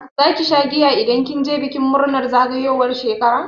Zaki sha giya idan kin je bikin murnar zagayowar shekara?